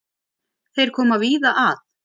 Þeir koma víða að.